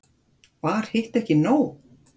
Var hitt ekki nóg?